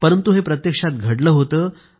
परंतु हे प्रत्यक्षात घडलं होतं